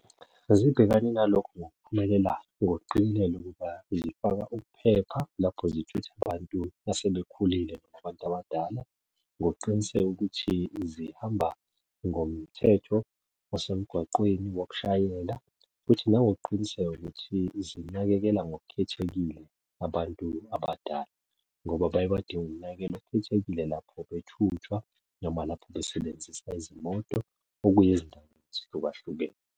Zibhekane nalokho ngokuphumelela ngokuqikelela ukuba zifaka ukuphepha lapho zithutha abantu asebekhulile nabantu abadala, ngokuqiniseka ukuthi zihamba ngomthetho wasemgwaqeni wokushayela, futhi nangokuqiniseka ukuthi zinakekela ngokukhethekile abantu abadala, ngoba baye badinge ukunakekelwa okukhethekile lapho bethuthwa noma lapho besebenzisa izimoto okuya ezindaweni ezihlukahlukene.